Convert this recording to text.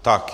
Tak.